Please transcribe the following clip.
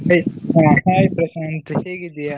ಹ hai ಪ್ರಶಾಂತ್ ಹೇಗಿದ್ದಿಯಾ?